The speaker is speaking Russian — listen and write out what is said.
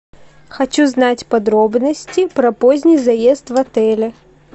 хочу знать подробности про поздний заезд в отеле